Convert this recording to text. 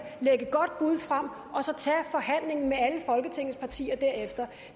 lægge et godt bud frem og så tage forhandlingen med alle folketingets partier derefter